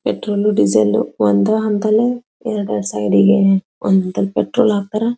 petrol diesel ಒಂದೇ ಹಂತಾನೆ ಎರಡ್ ಎರಡ್ ಸೈಡಿಗೆ ಒಂದು ಪೆಟ್ರೋಲ್ ಹಾಕ್ತಾರಾ--